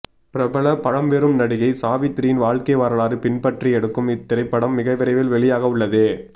பிரபல பழம்பெரும் நடிகை சாவித்ரியின் வாழ்க்கை வரலாறு பின்பற்றி எடுக்கும் இத்திரைப்படம் மிகவிரைவில் வெளியாகவுள்ளது